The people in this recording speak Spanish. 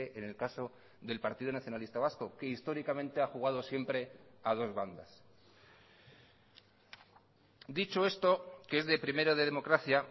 en el caso del partido nacionalista vasco que históricamente ha jugado siempre a dos bandas dicho esto que es de primero de democracia